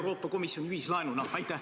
Euroopa Komisjoni ühislaenuna?